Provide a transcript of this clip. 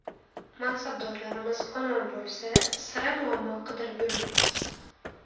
Mansabdorlarimiz omon bo‘lsa, sira muammo qidirib yurmaymiz.